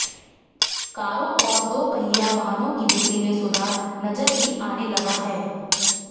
कारों और दोपहिया वाहनों की बिक्री में सुधार नजर भी आने लगा है